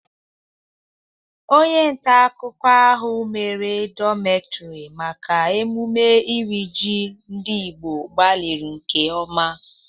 Onye nta akụkụ ahụ mere dọkumentiri maka emume iri ji ndị Igbo gbalịrị nke ọma.